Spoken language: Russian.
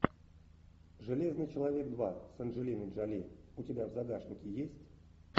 железный человек два с анджелиной джоли у тебя в загашнике есть